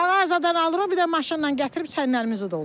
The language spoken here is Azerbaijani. Mağazadan alırıq, bir də maşınla gətirib çənlərimizi doldururuq.